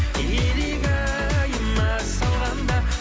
илигайыма салғанда